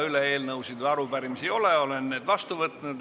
Rohkem eelnõude ja arupärimiste üleandmise soovi ei ole.